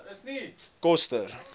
koster